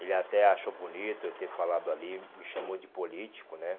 Ele até achou bonito eu ter falado ali, me chamou de político, né?